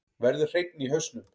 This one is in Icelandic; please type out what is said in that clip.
Verður hreinni í hausnum.